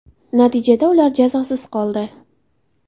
Natijada ular jazosiz qoldi.